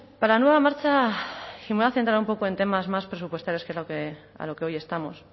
para la nueva marcha y me voy a centrar un poco en temas más presupuestarios que es a lo que hoy estamos